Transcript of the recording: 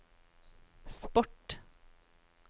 sport